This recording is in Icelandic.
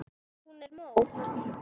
Hún er móð.